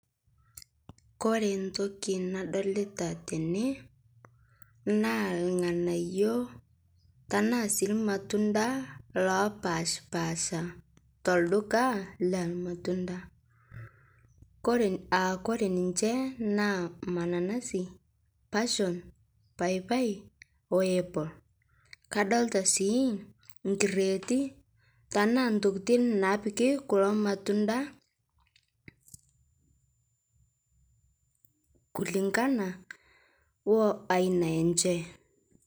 Kore ntoki nadolita tene naa lng'anayo tanaa sii lmatunda lopashpaasha telduka lelmatunda. Kore, aakore ninshe naa mananasi, pasion, paapai o apple. Kadolita sii nkreeti tanaa ntokitin napiki kulo matunda kulingana oo aina enshe.